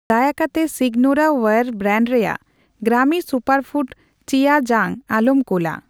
ᱫᱟᱭᱟ ᱠᱟᱛᱮ Signoraware brand ᱨᱮᱭᱟᱜ ᱜᱨᱟᱢᱤ ᱥᱩᱯᱟᱨᱯᱷᱩᱰ ᱪᱤᱭᱟ ᱡᱟᱝ ᱟᱞᱚᱢ ᱠᱩᱞᱟ ᱾